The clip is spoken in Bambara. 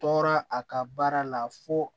Tɔɔrɔ a ka baara la fo